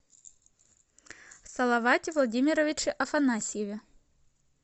салавате владимировиче афанасьеве